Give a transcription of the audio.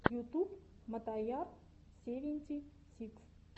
ютуб мотояр севенти сикс